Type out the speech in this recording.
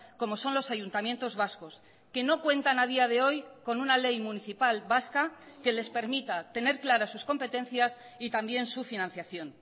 como son los ayuntamientos vascos que no cuentan a día de hoy con una ley municipal vasca que les permita tener claras sus competencias y también su financiación